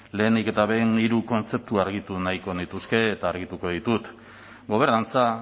lehenik eta behin hiru kontzeptu argitu nahiko nituzke eta argituko ditut gobernantza